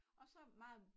Og så meget